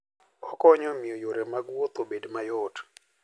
Okonyo e miyo yore mag wuoth obed mayot.